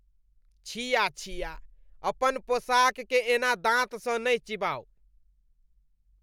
छिया छिया, अपन पोशाककेँ एना दाँतसँ नहि चिबाउ।